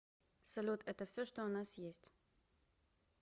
салют это все что у нас есть